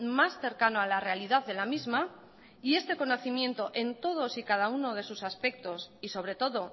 más cercano a la realidad de la misma y este conocimiento en todos y cada uno de sus aspectos y sobre todo